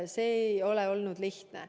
See ei ole olnud lihtne.